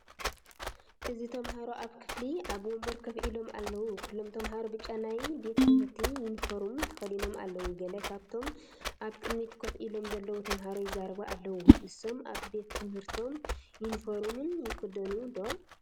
እዚ ተማሃሮ ኣብ ክፍሊ ኣብ ወንበር ኮፍ ኢሎም ኣለዉ። ኩሎም ተማሃሮ ብጫ ናይ ቤት ትምህርቲ ዩኒፎርምን ተኸዲኖም ኣለዉ። ገለ ካብቶም ኣብ ቅድሚት ኮፍ ኢሎም ዘለዉ ተማሃሮ ይዛረቡ ኣለዉ። ንሶም ኣብ ቤትትምህርቶም ዩኒፎርምን ይክደኑ ዶ ?